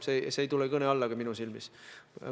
See ei tule minu arvates kõne allagi.